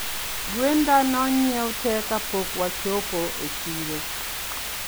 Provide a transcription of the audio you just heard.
Gwenda nonyie tee kapok wachopo e chiro